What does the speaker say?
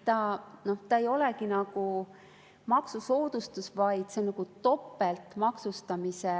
See ei olegi nagu maksusoodustus, vaid see on nagu topeltmaksustamise